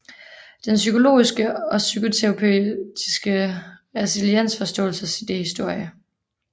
Den psykologiske og psykoterapeutiske resiliensforståelses idéhistorie